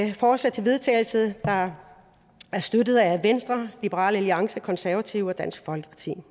et forslag til vedtagelse der er støttet af venstre liberal alliance de konservative og dansk folkeparti